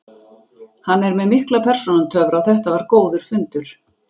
Hann er með mikla persónutöfra og þetta var góður fundur.